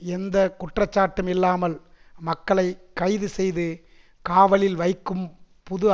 எந்த குற்றச்சாட்டும் இல்லாமல் மக்களை கைது செய்து காவலில் வைக்கும் புது